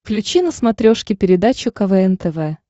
включи на смотрешке передачу квн тв